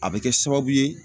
A bɛ kɛ sababu ye